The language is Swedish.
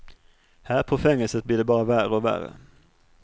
Här på fängelset blir det bara värre och värre.